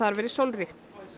verið sólríkt